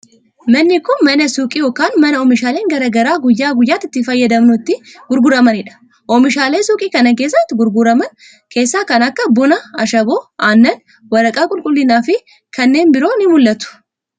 Manni kun mana suuqii yokin mana oomishaaleen garaa garaa guyyaa guyyaatti itti fayyadamnu itti gurguramanii dha. Oomishaalee suuqii kana keessatti gurguraman keessaa kan akka : buna, ashaboo , aannan, waraqaa qulqullinaa fi kanneen biroo ni mul'atu.